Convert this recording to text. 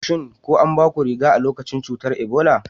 Shin ko anbaku riga-kafi a lokacin cutar Ebola?